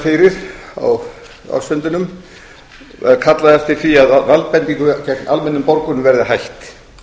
fyrir á ársfundinum var kallað eftir því að valdbeitingu gegn almennum borgurum verði hætt